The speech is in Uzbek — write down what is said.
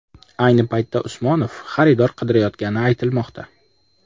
Ayni paytda Usmonov xaridor qidirayotgani aytilmoqda.